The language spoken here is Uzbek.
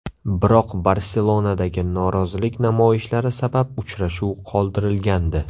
Biroq Barselonadagi norozilik namoyishlari sabab uchrashuv qoldirilgandi .